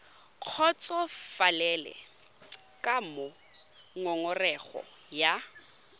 kgotsofalele ka moo ngongorego ya